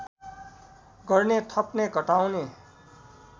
गर्ने थप्ने घटाउने